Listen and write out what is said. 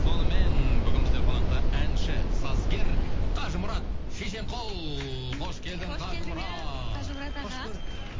сонымен бүгін бізде қонақта әнші сазгер қажымұрат шешенқұл қош келдің қажымұрат қажымұрат аға